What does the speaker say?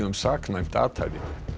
saknæmt athæfi